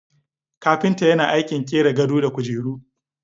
Kapinta yana aikin qira gado da kujeru.